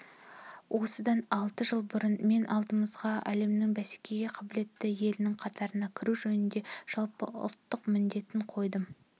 осыдан алты жыл бұрын мен алдымызға әлемнің бәсекеге қабілетті елінің қатарына кіру жөнінде жалпыұлттық міндетін қойдым